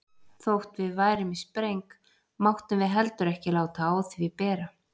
Þótt við værum í spreng máttum við heldur ekki láta á því bera.